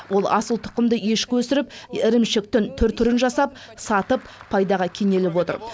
ол асылтұқымды ешкі өсіріп ірімшіктің түр түрін жасап сатып пайдаға кенеліп отыр